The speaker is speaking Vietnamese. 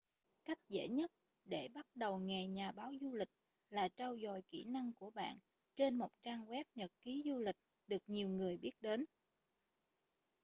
cách dễ nhất để bắt đầu nghề nhà báo du lịch là trau dồi kỹ năng của bạn trên một trang web nhật ký du lịch được nhiều người biết đến